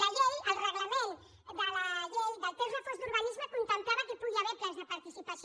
la llei el reglament de la llei del text refós d’urbanisme contemplava que pugui haver plans de participació